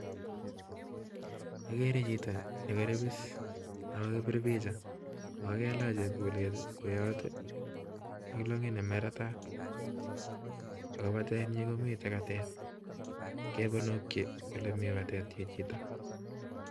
Okere chito nekoribis okokipir picha okailach chepkulet tii kwoyot ak longit nemeretat ako patenyin komiten katet kaponoki ole mii katet chichiton.